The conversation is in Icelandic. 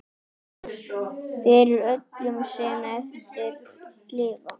Fyrir öllum sem eftir lifa!